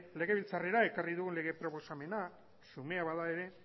legebiltzarrera ekarri dugun lege proposamena xumea bada ere